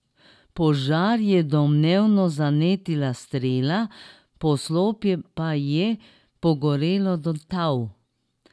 Požar je domnevno zanetila strela, poslopje pa je pogorelo do tal.